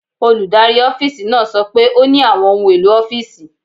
Olùdarí ọ́fíìsì náà sọ pé ó ní àwọn ohun èlò ọ́fíìsì.